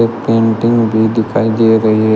एक पेंटिंग भी दिखाई दे रही है।